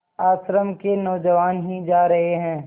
आश्रम के नौजवान ही जा रहे हैं